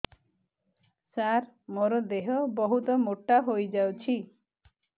ସାର ମୋର ଦେହ ବହୁତ ମୋଟା ହୋଇଯାଉଛି